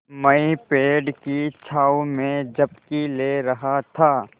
मैं पेड़ की छाँव में झपकी ले रहा था